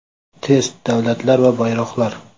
Test: Davlatlar va bayroqlar.